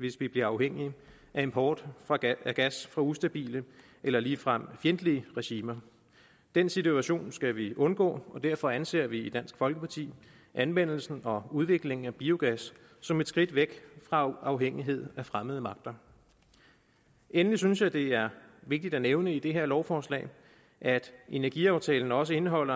hvis vi bliver afhængige af import af gas fra ustabile eller ligefrem fjendtlige regimer den situation skal vi undgå og derfor anser vi i dansk folkeparti anvendelsen og udviklingen af biogas som et skridt væk fra afhængighed af fremmede magter endelig synes jeg at det er vigtigt at nævne om det her lovforslag at energiaftalen også indeholder